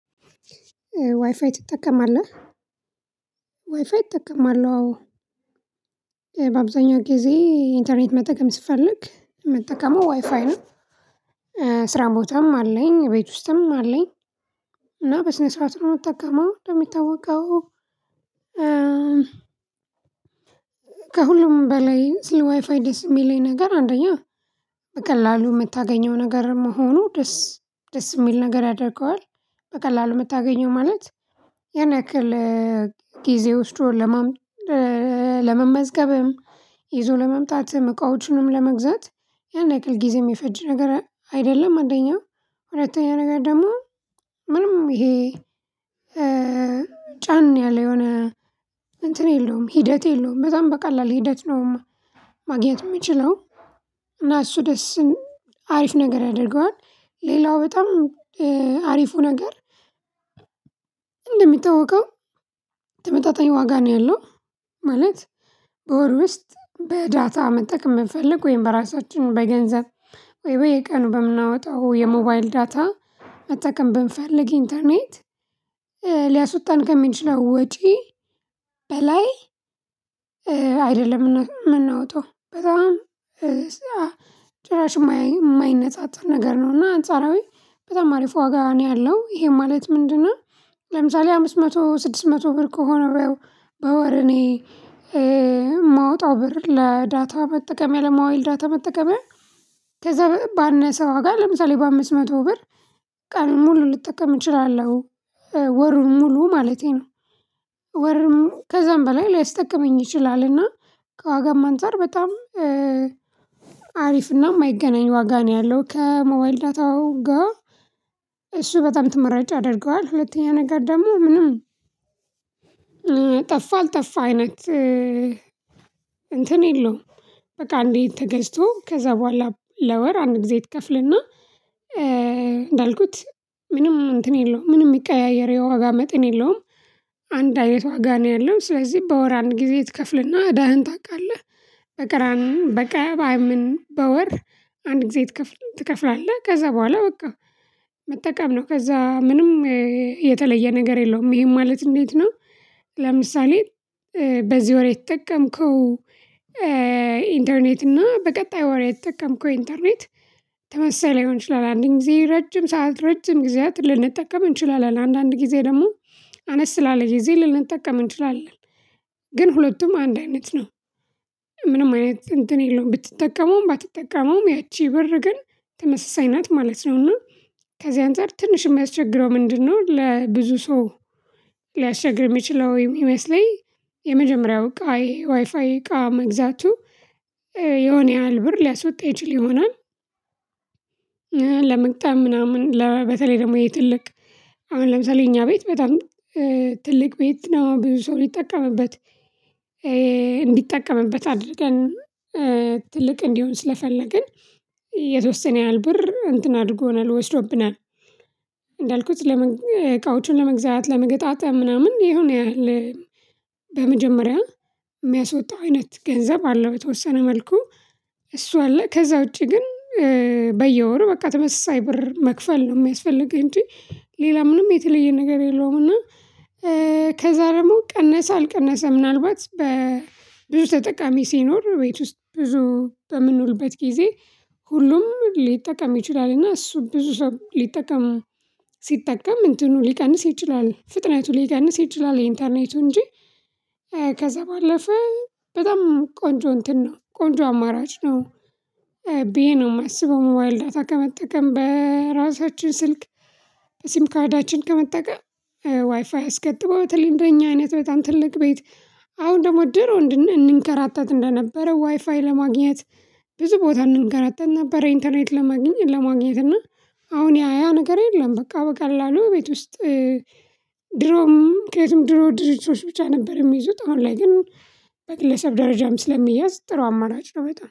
ዋይፋይ ትጠቀማለህ ዋይፋይ እጠቀማለው አዎ በአብዛኛው ጊዜ ኢንተርኔት መጠቀም ስፈልግ ምጠቀመው ዋይፋይ ነው። ስራ ቦታም አለኝ ቤት ውስጥም አለኝ። እና በስነ ስርዓት ነው የምጠቀመው እንደሚታወቀው። ከሁሉም በላይ ስለ ዋይፋይ ደስ የሚለኝ ነገር አንደኛ በቀላሉ የምታገኘው ነገር መሆኑ ደስ ደስ የሚል ነገር ያደርገዋል በቀላሉ የምታገኘው ማለት የሆነ ያክል ጊዜ ወስዶ ለመመዝገብም ይዞ ለመምጣት እቃዎችንም ለመግዛት ያን ያክል ጊዜ የሚፈጅ ነገር አይደለም። አንደኛው ሁለተኛ ነገር ደግሞ ምንም ይሄ ጫን ያለ የሆነ እንትን የለውም ሂደት የለውም በጣም በቀላል ሂደት ነው። ማግኘት የምችለው እና እሱ ደስ አሪፍ ነገር ያደርገዋል ሌላው በጣም አሪፉ ነገር እንደሚታወቀው ተመጣጣኝ ዋጋ ነው ያለው። ማለት በወር ውስጥ በዳታ መጠቀም ብንፈልግ ወይም በራሳችን በገንዘብ ወይም በየቀኑ በምናወጣው የሞባይል ዳታ መጠቀም ብንፈልግ ኢንተርኔት ሊያስወጣን ከሚችለው ወጪ በላይ አይደለም። የምናወጣው በጣም ጭራሽ የማይነጻጸር ነገር ነው እና አንጻራዊ በጣም አሪፍ ዋጋ ነው ያለው ይሄ ማለት ምንድነው? ለምሳሌ አምስት መቶ ስድስት መቶ ብር ከሆነው በወር እኔ የማወጣው ብር ለዳታ መጠቀምያ ለማዋል ዳታ መጠቀም ከዛ ባነሰ ዋጋ ለምሳሌ በአምስት መቶ ብር ቀኑን ሙሉ ልጠቀም እችላለሁ። ወሩን ሙሉ ማለቴ ነው። ወርም ከዛም በላይ ሊያስጠቅመኝ ይችላልና ከዋጋም አንፃር በጣም አሪፍና የማይገናኝ ዋጋ ነው ያለው ከሞባይል ዳታው ጋር እሱ በጣም ተመራጭ ያደርገዋል። ሁለተኛ ነገር ደግሞ ምንም ጠፋ አልጠፋ አይነት እንትን የለውም በቃ እንዴ ተገዝቶ ከዛ በኋላ ለወር አንድ ጊዜ ትከፍልና እንዳልኩት ምንም እንትን የለውም ምንም የሚቀያየር የዋጋ መጠን የለውም። አንድ አይነት ዋጋ ነው ያለው ስለዚህ በወር አንድ ጊዜ ትከፍልና እዳህን ታውቃለህ። በቀራ ንም በቀባይም በወር አንድ ጊዜ ትከፍላለህ ከዛ በኋላ በቃ መጠቀም ነው ከዛ ምንም የተለየ ነገር የለውም ይሄም ማለት እንዴት ነው? ለምሳሌ በዚህ ወር የተጠቀምከው ኢንተርኔት እና በቀጣይ ወሬ የተጠቀምከው ኢንተርኔት ተመሳሳይ ላይሆን ይችላል። አንድ ጊዜ ረጅም ሰዓት ረጅም ጊዜያት ልንጠቀም እንችላለን አንዳንድ ጊዜ ደግሞ አነስ ላለ ጊዜ ልንጠቀም እንችላለን ግን ሁለቱም አንድ አይነት ነው። ምንም አይነት እንትን የለውም ብትጠቀመውም ባትጠቀመውም ያቺ ብር ግን ተመሳሳይ ናት ማለት ነው። እና ከዚህ አንፃር ትንሽ የሚያስቸግረው ምንድነው? ለብዙ ሰው ሊያስቸግር የሚችለው የሚመስለኝ የመጀመሪያው ቃይ ዋይፋይ እቃ መግዛቱ የሆነ ያህል ብር ሊያስወጣ ይችል ይሆናል። ለመግጠም ምናምን በተለይ ደግሞ ይሄ ትልቅ አሁን ለምሳሌ እኛ ቤት በጣም ትልቅ ቤት ነው ብዙ ሰው ሊጠቀምበት እንዲጠቀምበት አድርገን ትልቅ እንዲሆን ስለፈለግን የተወሰነ ያህል ብር እንትን አድርጎናል ወስዶብናል። እንዳልኩት ዕቃዎቹን ለመግዛት ለመገጣጠም ምናምን የሆነ ያህል በመጀመሪያ የሚያስወጣው አይነት ገንዘብ አለው የተወሰነ መልኩ እሱ አለ ከዛ ውጪ ግን በየወሩ በቃ ተመሳሳይ ብር መክፈል ነው የሚያስፈልገው እንጂ ሌላ ምንም የተለየ ነገር የለውም። እና ከዛ ደግሞ ቀነሰ አልቀነሰ ምናልባት በብዙ ተጠቃሚ ሲኖር ቤት ውስጥ ብዙ በምንውልበት ጊዜ ሁሉም ሊጠቀም ይችላል እና እሱ ብዙ ሰው ሊጠቀም ሲጠቀም እንትኑ ሊቀንስ ይችላል ፍጥነቱ ሊቀንስ ይችላል የኢንተርኔቱ እንጂ ከዛ ባለፈ በጣም ቆንጆ እንትን ነው ቆንጆ አማራጭ ነው። ብዬ ነው የማስበው ሞባይል ዳታ ከመጠቀም በራሳችን ስልክ ሲም ካርዳችን ከመጠቀም ዋይፋይ አስገጥሞ እንደኛ አይነት በጣም ትልቅ ቤት አሁን ደግሞ ድሮ እንንከራተት እንደነበረ ዋይፋይ ለማግኘት ብዙ ቦታ እንንከራተት ነበረ ኢንተርኔት ለማግኘት ለማግኘት እና አሁን ያ ያ ነገር የለም። በቃ በቀላሉ ቤት ውስጥ ድሮም ከየትም ድሮ ድርጅቶች ብቻ ነበር የሚይዙት አሁን ላይ ግን በግለሰብ ደረጃም ስለሚያዝ ጥሩ አማራጭ ነው በጣም